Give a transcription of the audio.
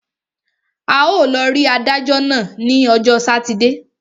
A ó lọ rí adájọ́ náà ní ọjọ́ sátidé.